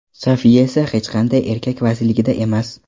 Sofiya esa hech qanday erkak vasiyligida emas.